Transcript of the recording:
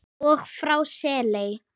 og frá Seley.